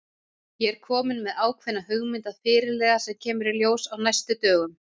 Ég er kominn með ákveðna hugmynd að fyrirliða sem kemur í ljós á næstu dögum.